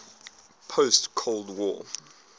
post cold war